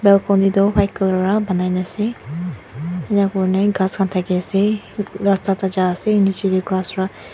balcony tu white colour wra banai na ase enakurna ghas khan thakae ase rasta tae jaase nichae tae ghas wra.